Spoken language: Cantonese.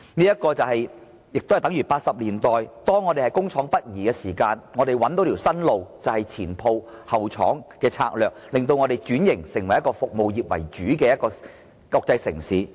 這情況亦等同1980年代，當香港工業北移時，香港找到新的出路，便是"前鋪後廠"的策略，令香港轉型成為服務業為主的國際城市。